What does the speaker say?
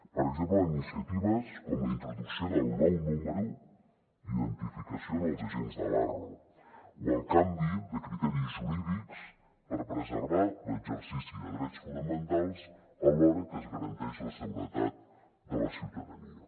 per exemple iniciatives com la introducció del nou número d’identificació en els agents de l’arro o el canvi de criteris jurídics per preservar l’exercici de drets fonamentals alhora que es garanteix la seguretat de la ciutadania